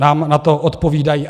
Nám na to odpovídají.